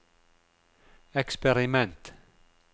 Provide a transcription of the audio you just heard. eksperiment